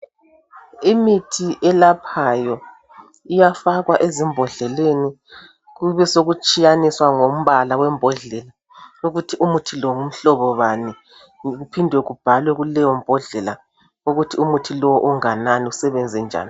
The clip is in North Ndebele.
Imithi eyelaphayo iyafakwa ezimbodleleni kube sokutshiyaniswa ngombala wembodlela ukuthi muthi lo ngumhlobo bani kuphindwe kubhalwe kuleyo mbodlela ukuthi umuthi lo unganani usebenze njani.